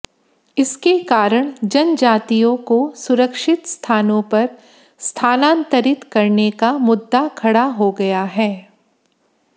इसके कारण जनजातियों को सुरक्षित स्थानों पर स्थानांतरित करने का मुद्दा खड़ा हो गया है